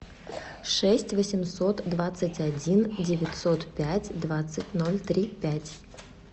шесть восемьсот двадцать один девятьсот пять двадцать ноль три пять